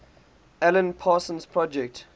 alan parsons project